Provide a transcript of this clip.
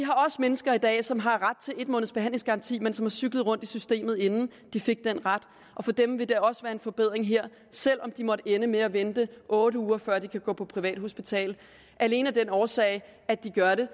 også mennesker i dag som har ret til en måneds behandlingsgaranti men som har cyklet rundt i systemet inden de fik den ret og for dem vil der også være en forbedring her selv om de måtte ende med at vente otte uger før de kan gå på privathospital alene af den årsag at de gør det